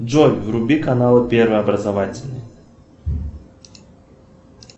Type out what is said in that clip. джой вруби канал первый образовательный